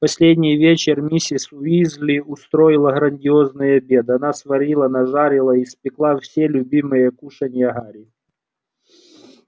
в последний вечер миссис уизли устроила грандиозный обед она сварила нажарила испекла все любимые кушанья гарри